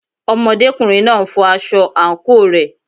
Ọmọdékùnrin náà n fọ aṣọ àǹkóò rẹ̀.